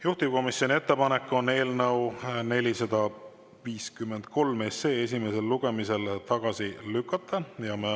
Juhtivkomisjoni ettepanek on eelnõu 453 esimesel lugemisel tagasi lükata.